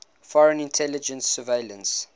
foreign intelligence surveillance